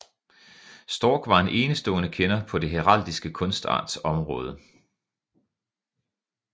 Storck var en enestående kender på den heraldiske kunstarts område